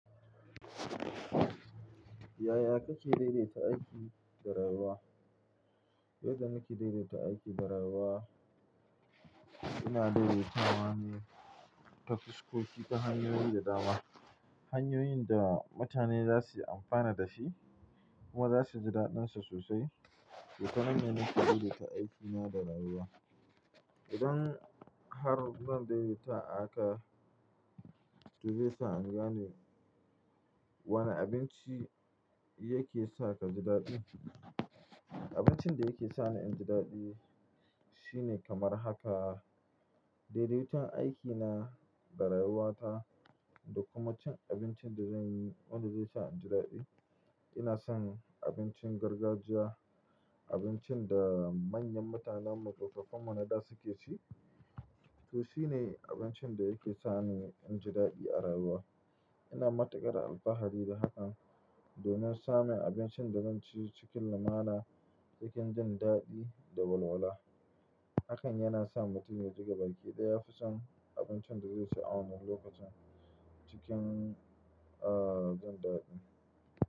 Yaya kake daidaita aiki da rayuwa? Yadda nake daidaita aiki da rayuwa, ina daidaitawa ne ta fuskoki ta hanyoyi da dama. Hanyoyin da mutane za su yi amfani da shi kuma za suji daɗinsa sosai. To ta nan, ne na ke daidaita aikina da rayuwa? Don har nan daidaita haka, zai sa in gane wane abinci yake sa ka ji daɗi. Abincin da yake sa ni in ji daɗi shine kamar haka, daidaiton aikina da rayuwata da kuma cin abincin da zanyi wanda zai sa in ji daɗi. Ina son abincin gargajiya, abincin da manyan mutanenmu tsofaffinmu naɗa suke ci. To shine abincin da yake sa ni in ji daɗi a rayuwa. Ina matukar alfahari da hakan domin same abincin da zan ci cikin lamana cikin jin daɗi da walwala. Hakan yana sa mutum ya diga baki idan ya fi son abincin da zai ci a wani lokacin cikin, ah, jin daɗi.